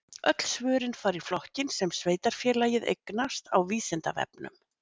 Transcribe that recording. Öll svörin fara í flokkinn sem sveitarfélagið eignast á Vísindavefnum.